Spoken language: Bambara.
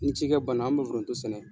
Ni cikɛ ban na an bɛ foronto sɛnɛ.